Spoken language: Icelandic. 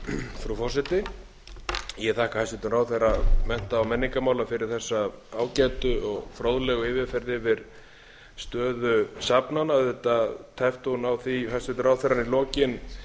frú forseti ég þakka hæstvirtum ráðherra mennta og menningarmála fyrir þessa ágætu og fróðlegu yfirferð yfir stöðu safnanna auðvitað tæpti hún á því hæstvirtur ráðherra í lokin